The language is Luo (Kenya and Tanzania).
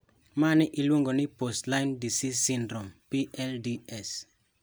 Mani iluongo ni post-Lyme disease syndrome (PLDS).